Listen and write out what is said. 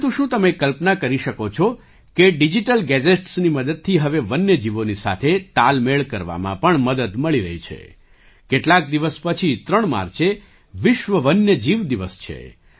પરંતુ શું તમે કલ્પના કરી શકો છો કે ડિજિટલ ગેજેટ્સની મદદથી હવે વન્ય જીવોની સાથે તાલમેળ કરવામાં પણ મદદ મળી રહી છે કેટલાક દિવસ પછી 3 માર્ચે વિશ્વ વન્ય જીવ દિવસ છે